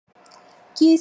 Kisi po na bana.